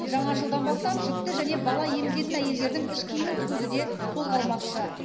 жаңа жылдан бастап жүкті және бала емізетін әйелдердің іш киімін тігуді де қолға алмақшы